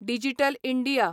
digital India